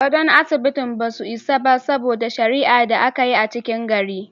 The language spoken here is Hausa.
Godo'n asibiti ba su isa ba, saboda sharia da an yi a cikin gari.